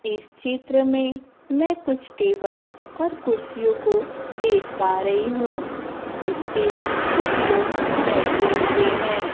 इस चित्र में मैं कुछ टेबल और कुर्सियों को देख पा रही हूं जिस पे कुछ लोग बैठे हुए है।